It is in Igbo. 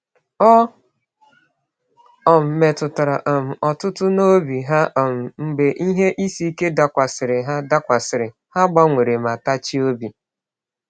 Ọ um metụtara um Ọtụtụ n’obi ha um mgbe ihe isi ike dakwasịrị; ha dakwasịrị; ha gbanwere ma tachie obi.